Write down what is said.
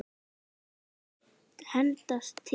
Þau hendast til.